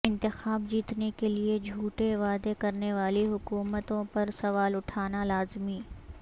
انتخاب جیتنے کے لیے جھوٹے وعدے کرنے والی حکومتوں پر سوال اٹھنا لازمی